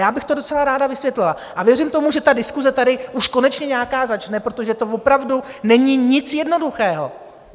Já bych to docela ráda vysvětlila a věřím tomu, že ta diskuse tady už konečně nějaká začne, protože to opravdu není nic jednoduchého.